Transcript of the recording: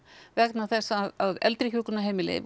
vegna þess að eldri hjúkrunarheimili